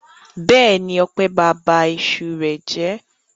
Bẹ́ẹ̀ni, Ọpẹ́ ba ab iṣu rẹ̀ jẹ́.